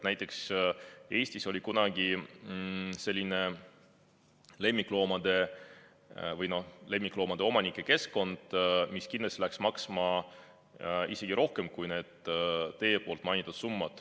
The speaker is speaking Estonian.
Näiteks Eestis oli kunagi selline lemmikloomade või noh, lemmikloomaomanike keskkond, mis kindlasti läks maksma isegi rohkem kui need teie mainitud summad.